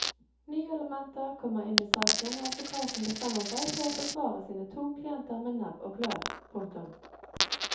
Nye elementer kommer inn i saken og advokaten bestemmer seg for å forsvare sine to klienter med nebb og klør. punktum